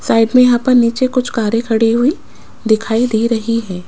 Side में यहां पर नीचे कुछ कारे खड़ी हुई दिखाई दे रही है।